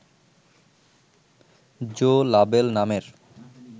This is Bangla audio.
জো লাবেল নামের